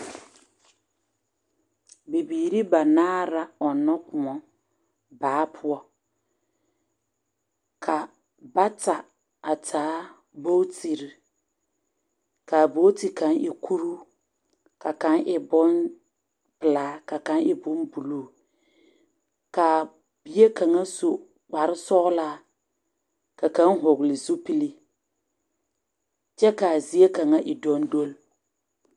Bibiiri banaare la ɔnnɔ kõɔ baa poɔ ka bata a taa boɡitiri ka a boɡiti kaŋ e kuruu ka kaŋ e bompelaa ka kaŋ e bombuluu ka a bie kaŋ su kparsɔɡelaa ka kaŋ hɔɔle zupili kyɛ ka a zie kaŋ e dɔndɔle.